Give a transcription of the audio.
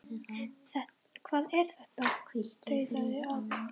Hvað er þetta? tautaði afi.